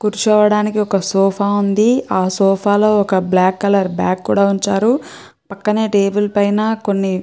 కూర్చోడానికి ఒక సోఫా ఉంది. ఆ సోఫా లో ఒక బ్లాక్ కలర్ బ్యాగ్ కూడా ఉంచారు. పక్కన టేబుల్ పైన కొన్ని--